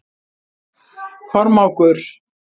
Kormákur